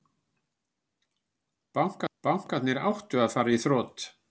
Bankarnir áttu að fara í þrot